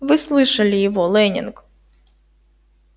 вы слышали его лэннинг